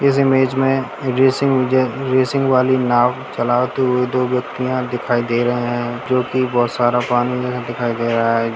इस इमेज में racing racing वाली नाव चला दो व्यक्तियाँ दिखाईं दे रहे है जोकि बहुत सारा पानी है दिखाईं दे रहा है।